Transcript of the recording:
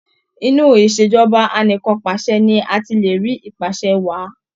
Inú Ìṣèjọba Anìkanpàṣẹ ni a ti le rí ìpàsẹ wàá.